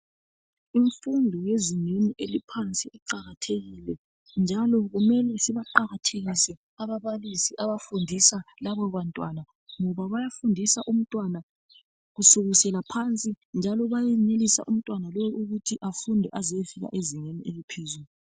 Imfundo yezingeni eliphansi iqakathekile njalo kumele sibaqakathekise ababalisi abafundisa labo bantwana ngoba bayafundisa umntwana kusukisela phansi njalo bayenelisa umntwana lowu ukuthi afunde ayefika ezingeni eliphezulu